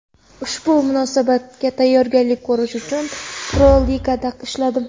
Ushbu musobaqaga tayyorgarlik ko‘rish uchun Pro-Ligada ishladim.